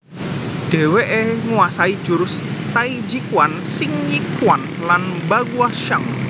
Dheweke nguasai jurus Taijiquan Xingyiquan lan Baguazhang